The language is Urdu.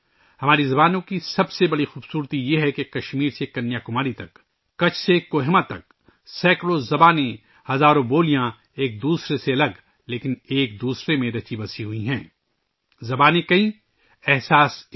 ہماری زبانوں کی سب سے بڑی خوبی یہ ہے کہ کشمیر سے کنیا کماری تک، کچھ سے کوہیما تک، سینکڑوں زبانیں، ہزاروں بولیاں ایک دوسرے سے مختلف ہیں لیکن ایک دوسرے میں رچی بسی ہوئی ہیں زبانیں انیک تاثرات ایک